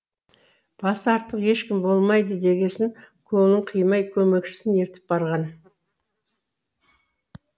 басы артық ешкім болмайды дегесін көңілін қимай көмекшісін ертіп барған